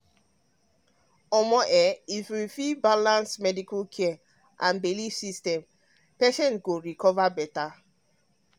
omo if we fit balance medical care with belief system patients go recover better.